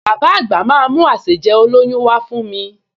Bàbá àgbà máa mú àsèjẹ olóyún wá fún mi